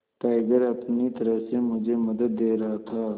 tiger अपनी तरह से मुझे मदद दे रहा था